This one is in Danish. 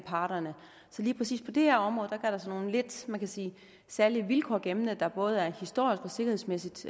parterne så lige præcis på det her område gør der sig nogle lidt man sige særlige vilkår gældende der både er historisk og sikkerhedsmæssigt